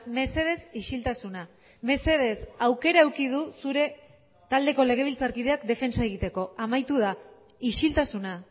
mesedez isiltasuna mesedez aukera eduki du zure taldeko legebiltzarkideak defentsa egiteko amaitu da isiltasuna